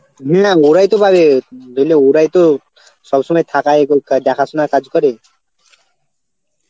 না ওরাও তো পাবে. বুঝলি ওরাও তো সবসময় থাকা এবং কা~ দেখাশোনার কাজ করে